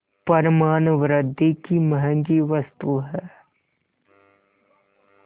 पर मानवृद्वि की महँगी वस्तु है